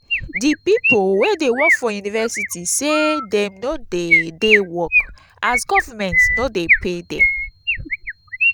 di pipu wey dey work for university sey dey no dey dey work as government no dey pay dem.